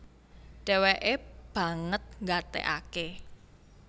Dhèwèkè banget nggatèkaké